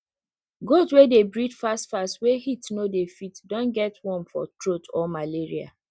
goat wey dey breathe fast fast wey heat no dey fit don get worm for throat or malaria